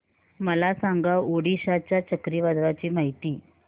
मला सांगा ओडिशा च्या चक्रीवादळाची माहिती